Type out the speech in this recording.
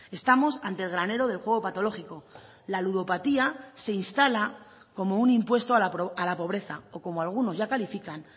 estamos ante el granero del juego patológico la ludopatía se instala como un impuesto a la pobreza o como algunos ya califican